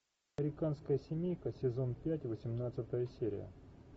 американская семейка сезон пять восемнадцатая серия